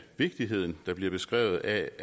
vigtigheden der bliver beskrevet af